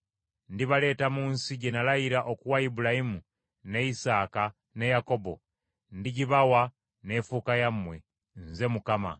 Ndibaleeta mu nsi gye nalayira okuwa Ibulayimu ne Isaaka ne Yakobo; ndigibawa n’efuuka yammwe. Nze Mukama .’”